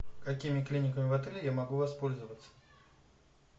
какими клиниками в отеле я могу воспользоваться